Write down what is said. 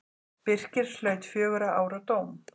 Birkir hlaut fjögurra ára dóm.